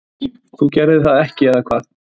þú gerðir þetta ekki, eða hvað?